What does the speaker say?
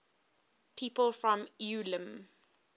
people from ulm